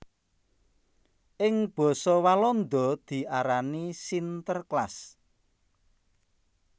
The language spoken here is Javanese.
Ing basa Walanda diarani Sinterklaas